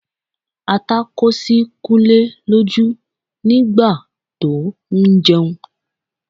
Ata kó sí Kúnlé lójú nígbà tó ń jẹun